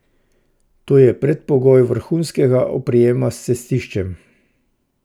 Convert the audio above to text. To je predpogoj vrhunskega oprijema s cestiščem.